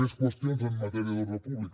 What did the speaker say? més qüestions en matèria d’ordre públic